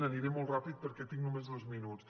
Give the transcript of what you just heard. aniré molt ràpid perquè tinc només dos minuts